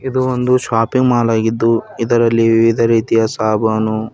ಇದು ಒಂದು shopping mall ಆಗಿದ್ದು ಇದರಲ್ಲಿ ವಿವಿಧ ರೀತಿಯ ಸಾಬನು--